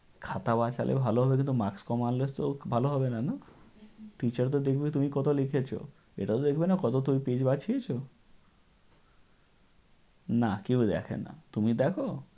খাতা বাঁচালে ভালো হবে কিন্তু marks কম আনলে তো ভালো হবে না, না? Teacher তো দেখবে তুমি কত লিখেছ। এটাও দেখবে না তুমি page বাঁচিয়েছ। না, কেউ দেখেনা। তুমি দেখো?